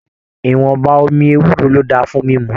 Ìwọ̀nba omi ewúro ló dáa fún mímú.